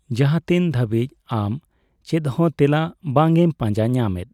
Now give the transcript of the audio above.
ᱡᱟᱦᱟᱸᱛᱤᱱ ᱫᱷᱟᱹᱵᱤᱡ ᱟᱢ ᱪᱮᱫᱦᱚᱸ ᱛᱮᱞᱟ ᱵᱟᱝᱮᱢ ᱯᱟᱡᱟᱸ ᱧᱟᱢᱮᱫ᱾